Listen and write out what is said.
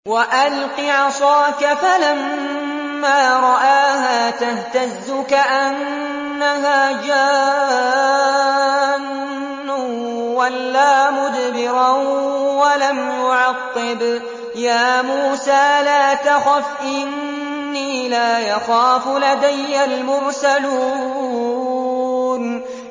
وَأَلْقِ عَصَاكَ ۚ فَلَمَّا رَآهَا تَهْتَزُّ كَأَنَّهَا جَانٌّ وَلَّىٰ مُدْبِرًا وَلَمْ يُعَقِّبْ ۚ يَا مُوسَىٰ لَا تَخَفْ إِنِّي لَا يَخَافُ لَدَيَّ الْمُرْسَلُونَ